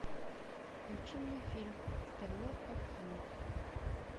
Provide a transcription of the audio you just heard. включи мне фильм стальной алхимик